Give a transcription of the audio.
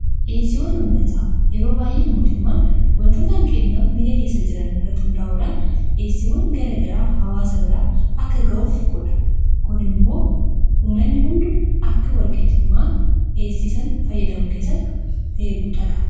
Dhiyeesiiwwan ummataa yeroo baay'ee mootummaan wantoota hanqinna biyya keessa jiran rrati hundaa'uudhaan dheessiiwwan gara garaa hawaasa biraa akka ga'uuf godha. kun immoo namni hundu akka wal-qixxummaan dheesiisan fayyadamu keessatti ga'ee guddaa qaba.